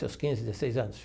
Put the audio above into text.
Seus quinze, dezesseis anos.